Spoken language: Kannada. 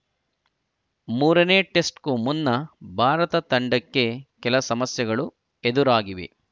ಮೂರನೇ ಟೆಸ್ಟ್‌ಗೂ ಮುನ್ನ ಭಾರತ ತಂಡಕ್ಕೆ ಕೆಲ ಸಮಸ್ಯೆಗಳು ಎದುರಾಗಿವೆ